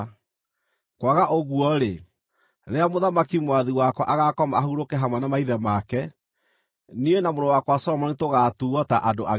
Kwaga ũguo-rĩ, rĩrĩa mũthamaki mwathi wakwa agaakoma ahurũke hamwe na maithe make, niĩ na mũrũ wakwa Solomoni tũgaatuuo ta andũ ageri ngero.”